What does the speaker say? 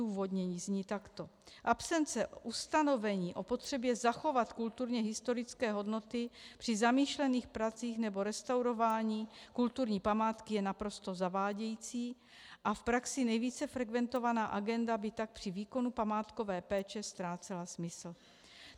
Odůvodnění zní takto: Absence ustanovení o potřebě zachovat kulturně historické hodnoty při zamýšlených pracích nebo restaurování kulturní památky je naprosto zavádějící a v praxi nejvíce frekventovaná agenda by tak při výkonu památkové péče ztrácela smysl.